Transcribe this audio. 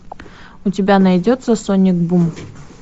у тебя найдется соник бум